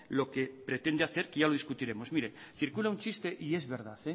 lo que pretende hacer que ya lo discutiremos mire circula un chiste y es verdad